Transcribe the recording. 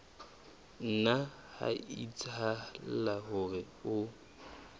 nna ha etsahala hore o